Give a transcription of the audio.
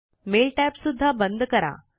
mail tab सुद्धा बंद करा